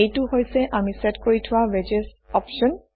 এইটো হৈছে আমি চেট কৰি থোৱা ৱেডজেছ অপশ্যন